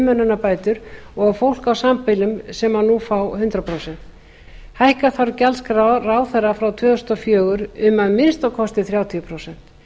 umönnunarbætur og fólk á sambýlum sem nú fá hundrað prósent sjöunda hækka þarf gjaldskrá ráðherra frá tvö þúsund og fjögur um að minnsta kosti þrjátíu prósent